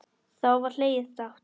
Þá var hlegið dátt.